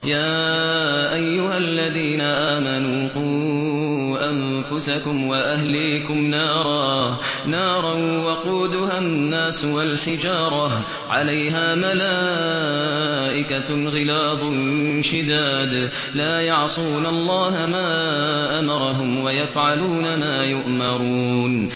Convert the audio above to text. يَا أَيُّهَا الَّذِينَ آمَنُوا قُوا أَنفُسَكُمْ وَأَهْلِيكُمْ نَارًا وَقُودُهَا النَّاسُ وَالْحِجَارَةُ عَلَيْهَا مَلَائِكَةٌ غِلَاظٌ شِدَادٌ لَّا يَعْصُونَ اللَّهَ مَا أَمَرَهُمْ وَيَفْعَلُونَ مَا يُؤْمَرُونَ